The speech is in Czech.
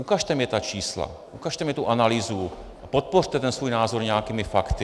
Ukažte mi ta čísla, ukažte mi tu analýzu, podpořte ten svůj názor nějakými fakty.